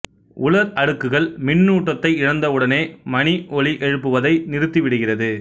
உலா் அடுக்குகள் மின்னூட்டத்தை இழந்தவுடனே மணி ஒலி எழுப்புவதை நிறுத்திவிடுகிறது